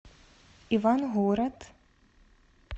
ивангород